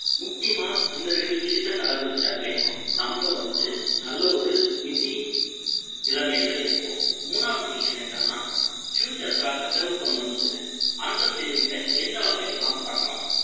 முக்கியமா இந்த ரெண்டு விஷயத்த கடைபிடிச்சாவே, நம்ம வந்துட்டு, நல்ல ஒரு நிதி நிலைமையில இருப்போம். மூணாவது விஷயம் என்னன்னா, future காக save பண்ணணும்னு சொல்றேன். அந்த saving அ, எந்த வகையில எல்லாம் பண்ணலாம்?